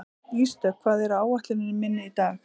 Ísdögg, hvað er á áætluninni minni í dag?